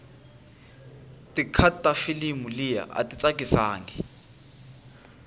ticut tafilimu liya ayitsakisangi